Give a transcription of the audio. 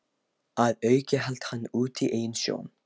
Að auki hélt hann úti eigin sjón